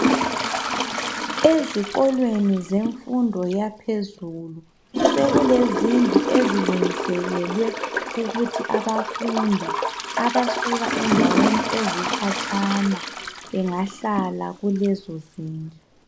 Ezikolweni zemfundo yaphezulu sekulezindlu ezilungiselelwe ukuthi abafundi abasuka endaweni ezikhatshana bengahlala kulezo zindlu.